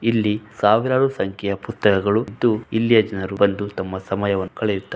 ಇಲ್ಲಿ ಸಾವಿರಾರು ಸಂಖ್ಯೆಯ ಪುಸ್ತಕಗಳು ಇದ್ದು ಇಲ್ಲಿಯ ಜನರು ಬಂದು ತಮ್ಮ‌ ಸಮಯವನ್ನು ಕಳೆಯುತ್ತಾ --